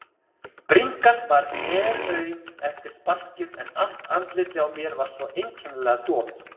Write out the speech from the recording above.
Bringan var helaum eftir sparkið en allt andlitið á mér var svo einkennilega dofið.